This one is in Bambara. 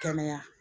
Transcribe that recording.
Kɛnɛya